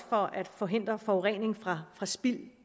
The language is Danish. for at forhindre forurening fra fra spild